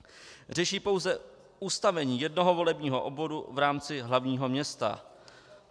Řeší pouze ustavení jednoho volebního obvodu v rámci hlavního města.